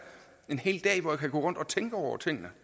en hel dag hvor jeg kan gå rundt og tænke over tingene